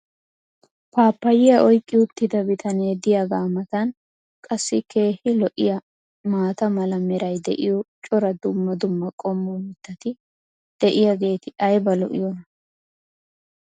paappayiya oyqi uttida bitanee diyaagaa matan qassi keehi lo'iyaa maata mala meray diyo cora dumma dumma qommo mitati diyaageti ayba lo'iyoonaa?